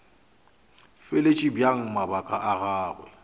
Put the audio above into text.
fahletše bjang mabaka a gagwe